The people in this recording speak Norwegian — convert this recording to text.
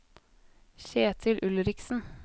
Kjetil Ulriksen